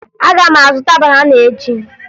Aga m azụta banana echi